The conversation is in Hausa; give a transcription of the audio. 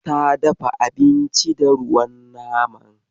Ta dafa abinci da ruwan naman.